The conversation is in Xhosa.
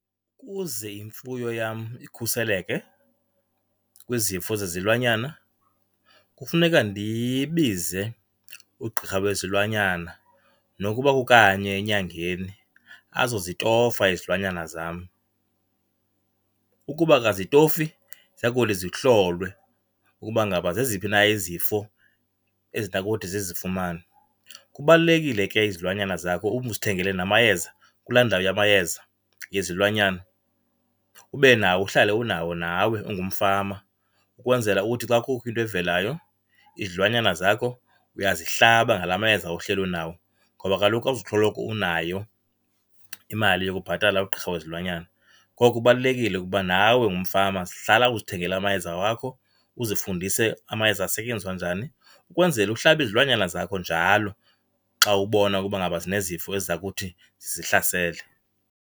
Kuze imfuyo yam ikhuseleke kwizifo zezilwanyana kufuneka ndibize ugqirha wezilwanyana nokuba kukanye enyangeni azozitofa izilwanyana zam. Ukuba akazitofi ziya kuthi zihlolwe ukuba ngaba zeziphi na izifo ezinokuthi zizifumane. Kubalulekile ke izilwanyana zakho uzithengele namayeza kulaa ndawo yamayeza yezilwanyana, ube nawo uhlale unawo nawe ungumfama ukwenzela ukuthi xa kukho into evelayo izilwanyana zakho uyazihlaba ngala mayeza uhleli unawo. Ngoba kaloku awuzusoloko unayo imali yokubhatala ugqirha wezilwanyana. Ngoku kubalulekile ukuba nawe ungumfama hlala uzithengela amayeza wakho, uzifundise amayeza asetyenziswa njani ukwenzela uhlabe izilwanyana zakho njalo xa ubona ukuba ngaba zinezifo eziza kuthi zizihlasele.